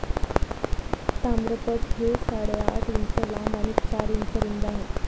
ताम्रपट हे साडेआठ इंच लांब आणि चार इंच रुंद आहेत.